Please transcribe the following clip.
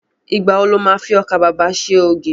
Ìgbà wo lo má fi ọkà babà ṣe ògì?